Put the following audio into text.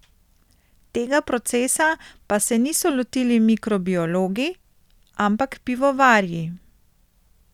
Tega procesa pa se niso lotili mikrobiologi, ampak pivovarji.